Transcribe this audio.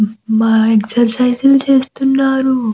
మా ఎక్సర్సిస్ చేస్తున్నారు --